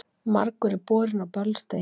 Margur er borinn á böls degi.